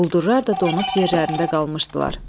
Quldurlar da donub yerlərində qalmışdılar.